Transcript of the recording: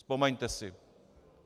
Vzpomeňte si.